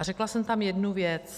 A řekla jsem tam jednu věc.